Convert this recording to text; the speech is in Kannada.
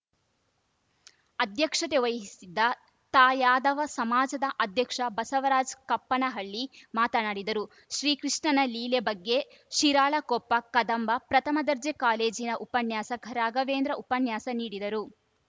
ಅಧ್ಯಕ್ಷತೆ ವಹಿಸಿದ್ದ ತಾಯಾದವ ಸಮಾಜದ ಅಧ್ಯಕ್ಷ ಬಸವರಾಜ್‌ ಕಪ್ಪನಹಳ್ಳಿ ಮಾತನಾಡಿದರು ಶ್ರೀಕೃಷ್ಣನ ಲೀಲೆ ಬಗ್ಗೆ ಶಿರಾಳಕೊಪ್ಪ ಕದಂಬ ಪ್ರಥಮ ದರ್ಜೆ ಕಾಲೇಜಿನ ಉಪನ್ಯಾಸಕ ರಾಘವೇಂದ್ರ ಉಪನ್ಯಾಸ ನೀಡಿದರು